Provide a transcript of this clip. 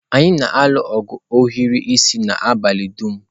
Anyị na-alụ ogu ohiri isi n'abalị dum.